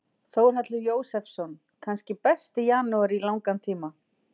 Þórhallur Jósefsson: Kannski besti janúar í langan tíma?